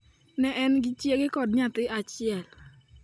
Ne en gi chiege kod nyathi achiel.